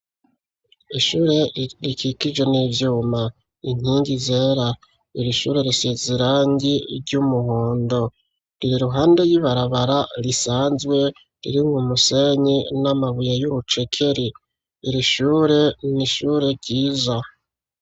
Ishure rikikijwe n'ivyuma inkingi zera irishure risize irangi ry'umuhondo riri iruhande ry'ibarabara risanzwe riri mu musenyi n'amabuye y'urucekeri irishure n'ishure ryiza.